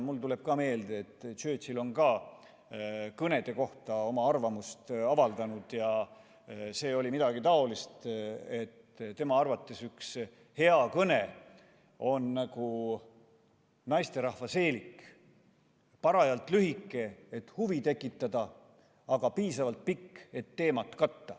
Mul tuleb meelde, et Churchill on ka kõnede kohta arvamust avaldanud ja see oli midagi taolist, et tema arvates on üks hea kõne nagu naisterahva seelik – parajalt lühike, et huvi tekitada, aga piisavalt pikk, et teemat katta.